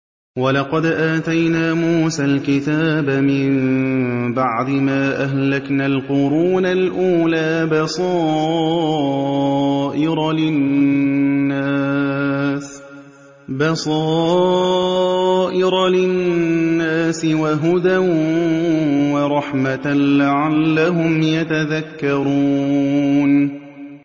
وَلَقَدْ آتَيْنَا مُوسَى الْكِتَابَ مِن بَعْدِ مَا أَهْلَكْنَا الْقُرُونَ الْأُولَىٰ بَصَائِرَ لِلنَّاسِ وَهُدًى وَرَحْمَةً لَّعَلَّهُمْ يَتَذَكَّرُونَ